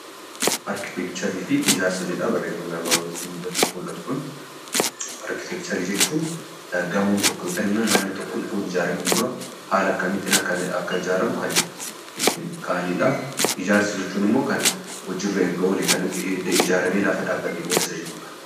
Arkiteekcharii fi Ijaarsa jedha barreeffamni armaan olitti mul'atu kun. Arkiteekcharii jechuun gamoon tokko yookaan immoo manni tokko utuu hin ijaaramin dura haala akkamiitiin akka ijaaramu kan ittiin kaa'ani dha. Ijaarsa jechuun immoo hojii irra erga oolee, erga ijaaramee dhaabbatee isa lafa jiru dha.